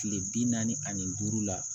Kile bi naani ni duuru la